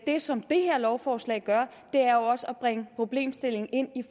det som det her lovforslag gør er også at bringe problemstillingen ind i